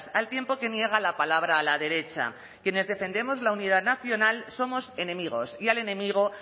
al tiempo que niega la palabra a la derecha quienes defendemos la unidad nacional somos enemigos y al enemigo